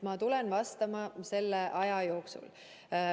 Ma tulen vastama selle aja jooksul.